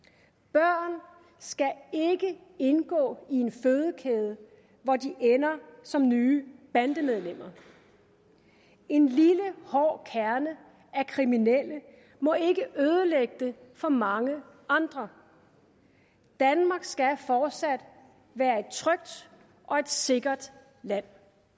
børn skal ikke indgå i en fødekæde hvor de ender som nye bandemedlemmer en lille hård kerne af kriminelle må ikke ødelægge det for mange andre danmark skal fortsat være et trygt og sikkert land